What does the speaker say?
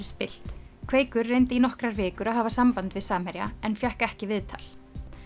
spillt kveikur reyndi í nokkrar vikur að hafa samband við Samherja en fékk ekki viðtal